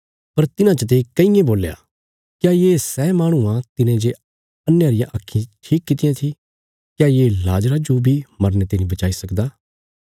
पर तिन्हां चते कईयें बोल्या क्या ये सै माहणु आ तिने जे अन्हेयां रियां आक्खीं ठीक कित्तियां थी क्या ये लाजरा जो बी मरने ते नीं बचाई सकदा